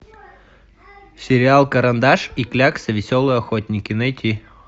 сериал карандаш и клякса веселые охотники найти